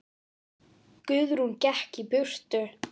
Guðrún gekk burt.